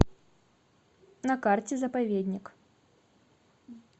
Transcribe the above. на карте заповедник